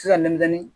Se ka nɛmɛ